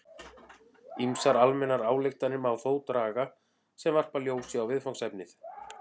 Ýmsar almennar ályktanir má þó draga sem varpa ljósi á viðfangsefnið.